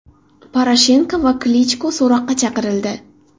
Poroshenko va Klichko so‘roqqa chaqirildi.